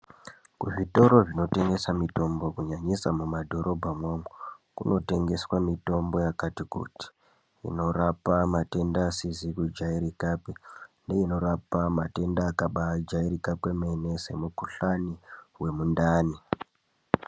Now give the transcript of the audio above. Kuzvitoro zvinotengesa mitombo kunyanyisa mumadhorobhamwo umwo. Kunotengeswa mitombo yakati kuti. Inorapa matenda asizi kujairikapi neinorapa matenda akabaajairika kwemene semukuhlani wemundani.